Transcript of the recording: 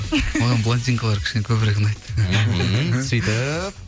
маған блондинкалар кішкене көбірек ұнайды мхм сөйтіп